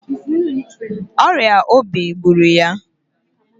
Ọrịa obi gbụrụ ya.